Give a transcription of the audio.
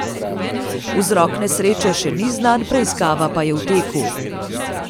Vzrok nesreče še ni znan, preiskava pa je v teku.